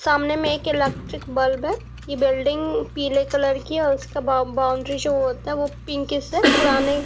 सामने में एक इलेक्ट्रिक बल्ब है ये बिल्डिंग पीले कलर की है और उसका बा बाउंड्री जो होता है वो पिंकिश है पुराने --